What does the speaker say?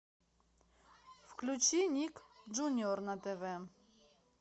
включи ник джуниор на тв